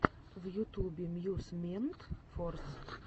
в ютубе эмьюзмент форс